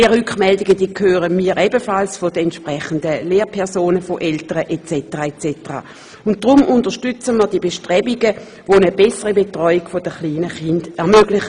Diese Rückmeldungen erhalten wir ebenfalls von den entsprechenden Lehrpersonen, von Eltern etc. Deshalb unterstützen wir die Bestrebungen, um eine bessere Betreuung der kleinen Kinder zu ermöglichen.